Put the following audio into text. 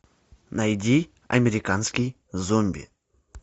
найди американский зомби